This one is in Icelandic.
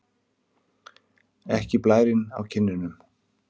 Ekki blærinn á kinnunum.